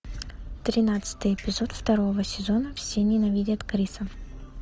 тринадцатый эпизод второго сезона все ненавидят криса